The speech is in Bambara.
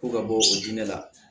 Ko ka bɔ o diinɛ la